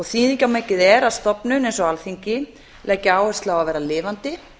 þýðingarmikið er að stofnun eins og alþingi leggi áherslu á að vera lifandi